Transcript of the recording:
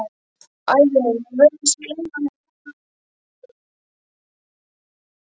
Ævi mín, ég virðist gleyma henni jafnóðum og hún líður.